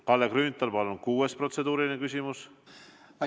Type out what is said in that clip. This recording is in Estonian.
Kalle Grünthal, palun, kuues protseduuriline küsimus!